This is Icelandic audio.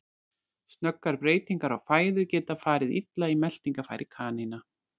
Snöggar breytingar á fæðu geta farið illa í meltingarfæri kanína.